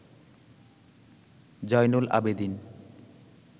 Zainul Abedin